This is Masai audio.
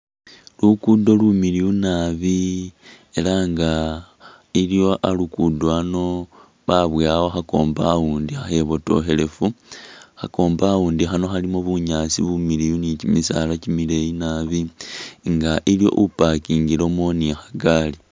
Lukudo lumiliyu nabi ela nga iliwo alukudo ano babowawo kha compound kha khibotokhelefu kha compound khano khalimo bunyaasi bumiliyu ni kyimisala kyimileyi nabi nga iliwo u’pakingilemo ni kha’gari.